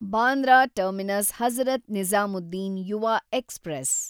Bandra terminus Hazrat Nizamuddin Yuva express